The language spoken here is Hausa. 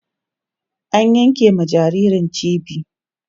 an yanke ma jinjirin cibi